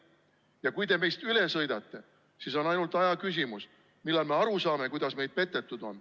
Ja kui te meist üle sõidate, siis on ainult aja küsimus, millal me aru saame, kuidas meid petetud on.